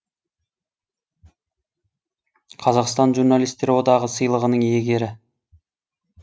қазақстан журналистер одағы сыйлығының иегері